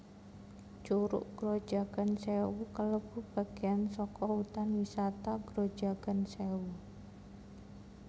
Curug Grojogan Sewu kalebu bageyan saka Hutan Wisata Grojogan Sèwu